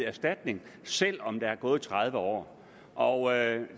erstatning selv om der er gået tredive år og